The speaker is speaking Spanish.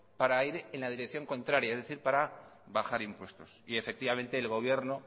para ir en la dirección contraria es decir para bajar impuestos y efectivamente el gobierno